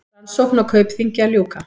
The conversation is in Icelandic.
Rannsókn á Kaupþingi að ljúka